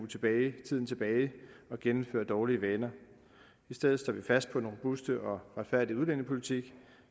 tiden tilbage og genindføre dårlige vaner i stedet står vi fast på den robuste og retfærdige udlændingepolitik